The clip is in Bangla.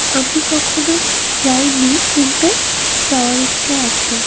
আমি কখনো যাইনি কিন্তু যাওয়ার ইচ্ছে আছে।